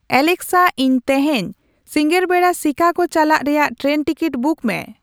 ᱟᱞᱮᱠᱥᱟ ᱤᱧ ᱛᱮᱦᱮᱧ ᱥᱤᱸᱜᱟᱹᱲ ᱵᱮᱲᱟ ᱥᱤᱠᱟᱜᱳ ᱪᱟᱞᱟᱜ ᱨᱮᱭᱟᱜ ᱴᱨᱮᱱ ᱴᱤᱠᱤᱴ ᱵᱩᱠ ᱢᱮ